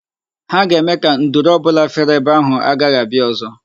Ha ga-eme ka nduru ọ bụla fere ebe ahụ, agaghị abịa ọzọ.